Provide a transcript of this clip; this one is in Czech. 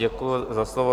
Děkuji za slovo.